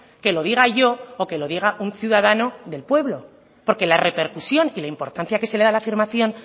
que lo diga yo o que lo diga un ciudadano del pueblo porque la repercusión y la importancia que se le da a la afirmación